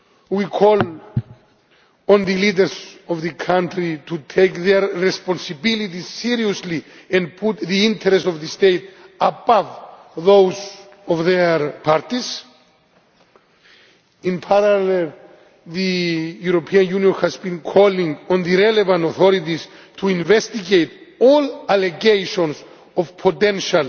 We call on the leaders of the country to take their responsibilities seriously and put the interests of the state above those of their parties. In parallel, the European Union has been calling on the relevant authorities to investigate all allegations of potential